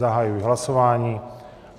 Zahajuji hlasování.